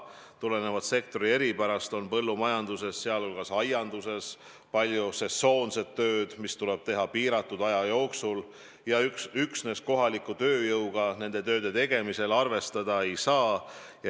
Tulenevalt sektori eripärast on põllumajanduses, sealhulgas aianduses palju sesoonset tööd, mis tuleb teha piiratud aja jooksul, ja üksnes kohaliku tööjõuga nende tööde tegemisel arvestada ei saa.